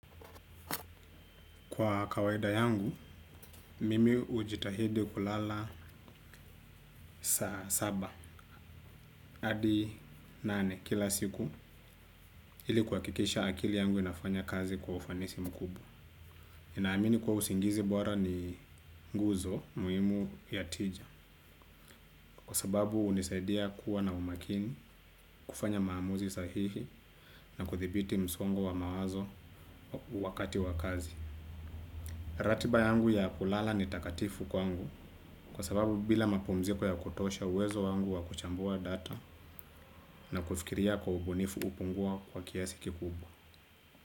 Kwa kawaida yangu, mimi hujitahidi kulala saa saba, hadi nane kila siku, ili kuhakikisha akili yangu inafanya kazi kwa ufanisi mkubwa. Ninaamini kuwa usingizi bora ni nguzo muhimu ya tija, kwa sababu hunisaidia kuwa na umakini, kufanya maamuzi sahihi na kudhibiti msongo wa mawazo wakati wa kazi. Ratiba yangu ya kulala ni takatifu kwangu. Kwa sababu bila mapumziko ya kutosha uwezo wangu wa kuchambua data na kufikiria kwa ubunifu hupungua kwa kiasi kikubwa.